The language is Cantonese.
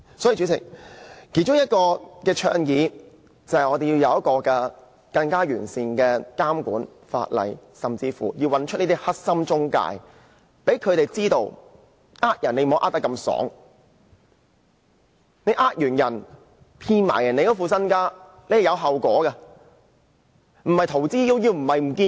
所以，主席，我們其中一項倡議，就是要有一套更完善的監管法例，甚至要找出這些"黑心中介"，讓他們知道不能隨意欺詐，他們欺詐及騙取市民的身家，是有後果的，不能逃之夭夭，消失了便算。